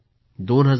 double झाली आहे